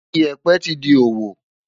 Ìyẹ̀pẹ̀ ti di òwò.